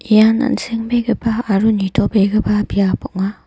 ian an·sengbegipa aro nitobegipa biap ong·a.